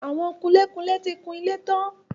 Àwọn kunlé-kunlé ti kun ilé tán.